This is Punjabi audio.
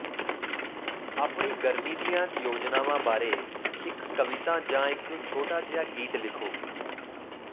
ਆਪਣੀ ਗਰਮੀ ਦੀਆਂ ਯੋਜਨਾਵਾਂ ਬਾਰੇ ਇੱਕ ਕਵਿਤਾ ਜਾਂ ਇੱਕ ਛੋਟਾ ਜਿਹਾ ਗੀਤ ਲਿਖੋ